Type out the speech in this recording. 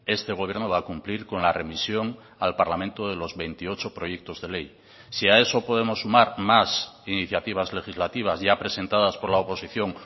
este gobierno va a cumplir con la remisión al parlamento de los veintiocho proyectos de ley si a eso podemos sumar más iniciativas legislativas ya presentadas por la oposición